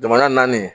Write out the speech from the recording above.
Jamana naani